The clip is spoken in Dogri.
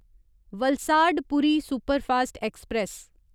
वलसाड पूरी सुपरफास्ट ऐक्सप्रैस